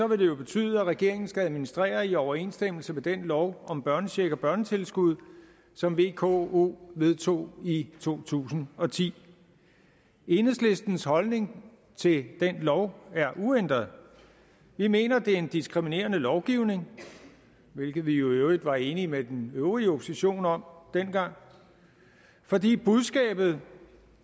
det betyde at regeringen skal administrere i overensstemmelse med den lov om børnecheck og børnetilskud som vko vedtog i to tusind og ti enhedslistens holdning til den lov er uændret vi mener det er en diskriminerende lovgivning hvilket vi i øvrigt var enige med den øvrige opposition om dengang fordi budskabet